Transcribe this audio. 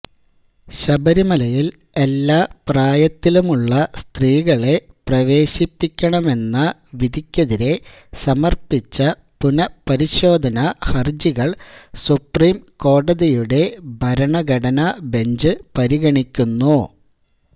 ശബരിമലയില് എല്ലാ പ്രായത്തിലുമുള്ള സ്ത്രീകളെ പ്രവേശിപ്പിക്കണെന്ന വിധിക്കെതിരെ സമര്പ്പിച്ച പുനപരിശോധന ഹര്ജികള് സുപ്രീം കോടതിയുടെ ഭരണഘടനാ ബെഞ്ച് പരിഗണിക്കുന്നു